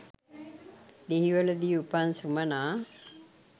දෙහිවලදී උපන් සුමනා